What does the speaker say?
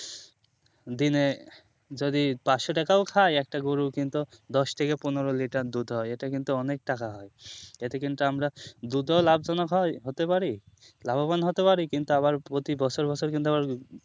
দিনে যদি পাঁচশো টাকাও খাই একটা গরু কিন্তু দশটি থেকে পনেরো লিটার দুধ হয় এটা কিন্তু অনেক টাকা হয় এতে কিন্তু আমরা দুধ ও লাভ জনক হতে পারি লাভবান হতে পারি কিন্তু আবার প্রতি বছর বছর কিন্তু আবার